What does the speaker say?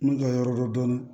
N'u ka yɔrɔ dɔn